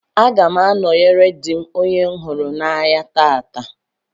Aga m anọyere dị m onye m hụrụ n'anya taata.